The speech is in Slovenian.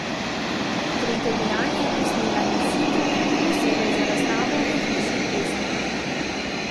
Tretje dejanje je posnela in situ, posebej za razstavo v Hiši Ester.